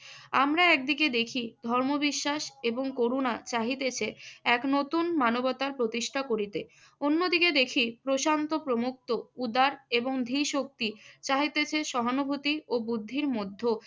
আমরা একদিকে দেখি ধর্মবিশ্বাস এবং করোনা চাহিতেছে এক নতুন মানবতার প্রতিষ্ঠা করিতে। অন্যদিকে দেখি প্রশান্ত প্রমুক্ত উদার এবং ধীশক্তি চাহিতেছে সহানুভূতি ও বুদ্ধির মধ্যক।